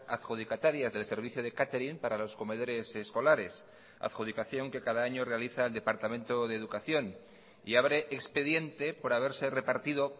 adjudicatarias del servicio de catering para los comedores escolares adjudicación que cada año realiza el departamento de educación y abre expediente por haberse repartido